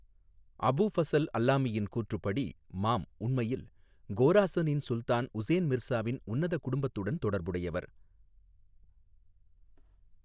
அபு ஃபசல் அல்லாமியின் கூற்றுப்படி, மாம் உண்மையில் கோராசனின் சுல்தான் உசேன் மிர்சாவின் உன்னத குடும்பத்துடன் தொடர்புடையவர்.